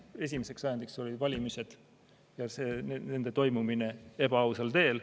Esimeseks ajendiks olid valimised ja nende toimumine ebaausal teel.